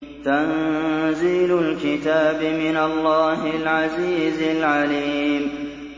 تَنزِيلُ الْكِتَابِ مِنَ اللَّهِ الْعَزِيزِ الْعَلِيمِ